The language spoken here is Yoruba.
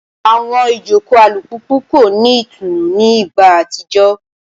Awọn ijoko alupupu ko ni itunu ni igba atijọ